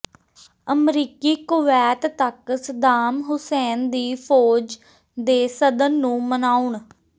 ਅਮਰੀਕੀ ਕੁਵੈਤ ਤੱਕ Saddam Hussein ਦੀ ਫ਼ੌਜ ਦੇ ਸਦਨ ਨੂੰ ਮਨਾਉਣ